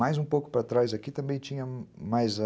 Mais um pouco para trás aqui também tinha mais a...